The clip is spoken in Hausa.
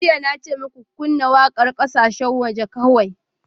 Jiya na ce muku, Ku kunna waƙar ƙasashen waje kawai!